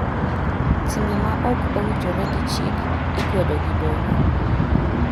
Timbe ma ok owinjore gi chik ikwedo gi doho.